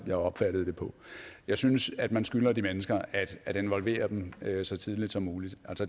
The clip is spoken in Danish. jeg opfattede det på jeg synes at man skylder de mennesker at involvere dem så tidligt som muligt